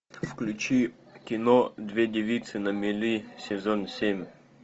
включи кино две девицы на мели сезон семь